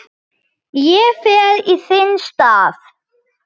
Ég fer í þinn stað